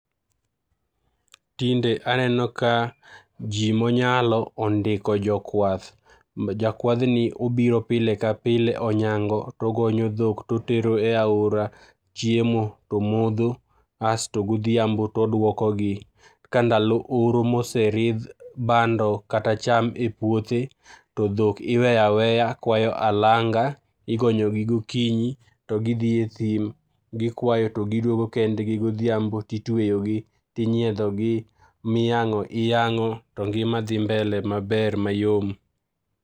Tinde aneno ka ji monyalo ondiko jokwath, jakwadhni obiro pile ka pile, onyango togonyo dhok totero e aora chiemo tomodho, asto godhiambo todwokogi. Ka ndalo oro moseridh bando kata cham e puothe, to dhok iweyo aweya kwayo alanga, igonyogi gokinyi to gidhi e thim ,gikwayo to gidwogo kendgi godhiambo titweyogi, tinyiedhogi, miyang'o iyang'o to ngima dhi mbele maber, mayom.